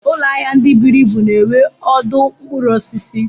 Ụlọahia ndị buru ibu na-enwe ọdụ mkpụrụ osisi.